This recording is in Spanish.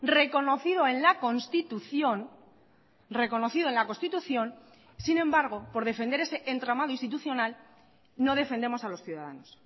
reconocido en la constitución reconocido en la constitución sin embargo por defender ese entramado institucional no defendemos a los ciudadanos